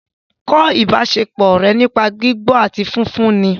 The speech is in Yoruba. Kọ́ ìbáṣepọ̀ ọ̀rẹ́ nípa gbígbọ́ àti fífún un ni